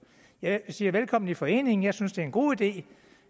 jeg siger velkommen i foreningen og jeg synes det er en god ide